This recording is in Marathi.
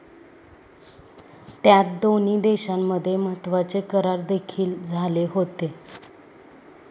त्यात दोन्ही देशांमध्ये महत्वाचे करार देखील झाले होते.